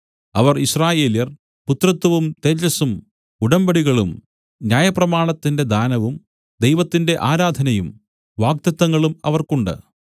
അവർ യിസ്രായേല്യർ പുത്രത്വവും തേജസ്സും ഉടമ്പടികളും ന്യായപ്രമാണത്തിന്റെ ദാനവും ദൈവത്തിന്റെ ആരാധനയും വാഗ്ദത്തങ്ങളും അവർക്കുണ്ട്